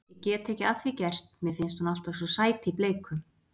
Ég get ekki að því gert, mér finnst hún alltaf svo sæt í bleiku.